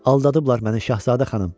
Aldadıblar məni, Şahzadə xanım.